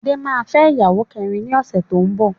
Adé máa fẹ́ ìyàwó kẹrin ni ọ̀sẹ̀ tó ń bọ̀.